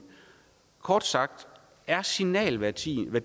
kort sagt er signalværdien